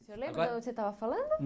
Você lembra de onde você estava falando?